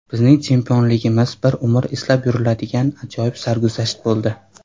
Bizning chempionligimiz bir umr eslab yuriladigan ajoyib sarguzasht bo‘ldi.